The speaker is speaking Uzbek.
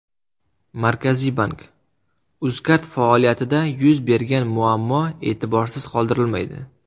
Markaziy bank: Uzcard faoliyatida yuz bergan muammo e’tiborsiz qoldirilmaydi.